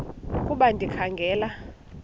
ukuba ndikha ngela